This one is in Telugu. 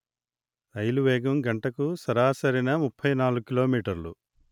రైలు వేగం గంటకు సరాసరిన ముప్పై నాలుగు కిలో మీటర్లు